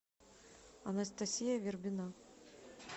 анастасия вербина